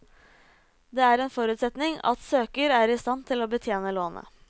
Det er en forutsetning at søker er i stand til å betjene lånet.